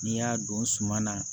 N'i y'a don suma na